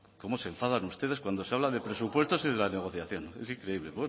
cómo se enfadan ustedes cuando se habla de presupuestos y de las negociaciones